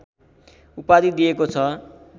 उपाधि दिएको छ